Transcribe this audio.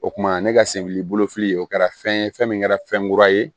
O kuma ne ka senbili bolofili o kɛra fɛn ye fɛn min kɛra fɛn kura ye